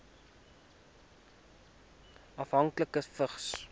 afhanklikes vigs